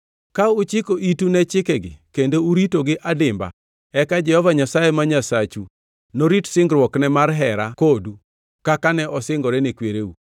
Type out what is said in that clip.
Ka uchiko itu ne chikegi kendo uritogi adimba, eka Jehova Nyasaye ma Nyasachu norit singruokne mar hera kodu kaka ne osingore ne kwereu.